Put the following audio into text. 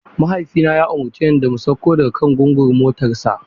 Mahaifina ya umarce mu da mu sauko daga kan gungun motarsa.